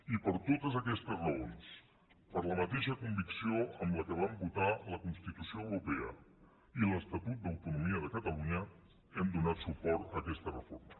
i per totes aquestes raons per la mateixa convicció amb què vam votar la constitució europea i l’estatut d’autonomia de catalunya hem donat suport a aquesta reforma